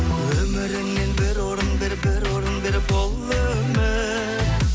өміріңнен бір орын бер бір орын бер бұл өмір